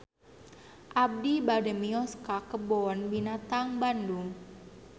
Abi bade mios ka Kebun Binatang Bandung